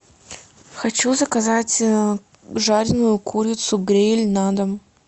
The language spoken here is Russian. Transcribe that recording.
хочу заказать жареную курицу гриль на дом